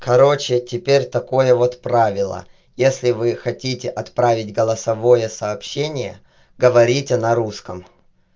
короче теперь такое вот правило если вы хотите отправить голосовое сообщение говорите на русском